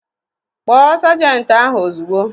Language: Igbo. Kpọọ sajenti ahụ ozugbo!